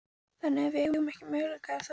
Þannig að við eigum ekki möguleika, er það?